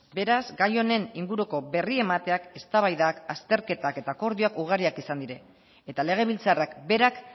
beraz gai honen inguruko berri emateak eztabaidak azterketak eta akordioak ugariak izan dira eta legebiltzarrak berak